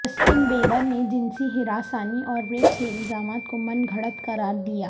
Justin Bieber نے جنسی ہراسانی اور ریپ کے الزامات کو من گھڑت قرار دیا